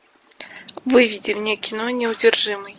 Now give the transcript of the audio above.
выведи мне кино неудержимый